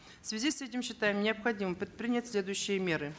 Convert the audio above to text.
в связи с этим считаем необходимым предпринять следующие меры